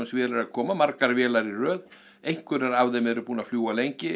vél er að koma margar vélar í röð einhverjar af þeim eru búnar að fljúga lengi